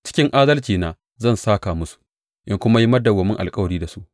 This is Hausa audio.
Cikin adalcina zan sāka musu in kuma yi madawwamin alkawari da su.